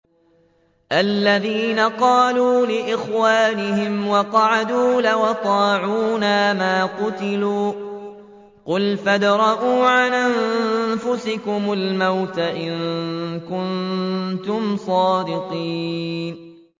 الَّذِينَ قَالُوا لِإِخْوَانِهِمْ وَقَعَدُوا لَوْ أَطَاعُونَا مَا قُتِلُوا ۗ قُلْ فَادْرَءُوا عَنْ أَنفُسِكُمُ الْمَوْتَ إِن كُنتُمْ صَادِقِينَ